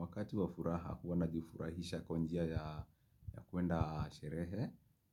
Wakati wa furaha kuwa najifurahisha kwa njia ya kwenda sherehe.